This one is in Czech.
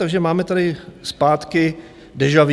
Takže máme tady zpátky deja vu.